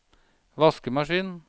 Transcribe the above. vaskemaskin